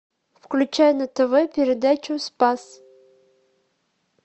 включай на тв передачу спас